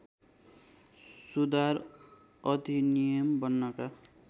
सुधार अधिनियम बन्नका